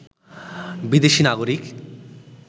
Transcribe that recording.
বিদেশি নাগরিক